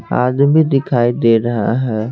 आदमी दिखाई दे रहा है।